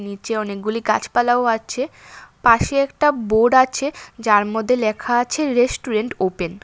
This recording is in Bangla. নীচে অনেকগুলি গাছপালাও আছে পাশে একটা বোর্ড আছে যার মধ্যে লেখা আছে রেস্টুরেন্ট ওপেন ।